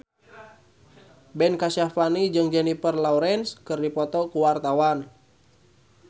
Ben Kasyafani jeung Jennifer Lawrence keur dipoto ku wartawan